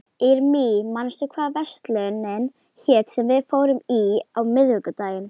Irmý, manstu hvað verslunin hét sem við fórum í á miðvikudaginn?